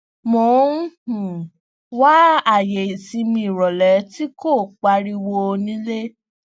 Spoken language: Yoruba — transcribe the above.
mo n um wa aaye isinmi irọlẹ ti ko pariwo nile